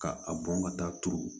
Ka a bɔn ka taa turu